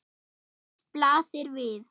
Eitt blasir við.